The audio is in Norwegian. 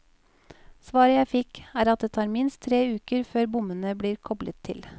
Svaret jeg fikk, er at det tar minst tre uker før bommene blir koblet til.